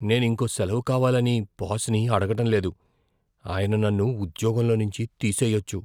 నేను ఇంకో సెలవు కావాలని బాస్ని అడగడం లేదు. ఆయన నన్ను ఉద్యోగంలో నుంచి తీసేయొచ్చు.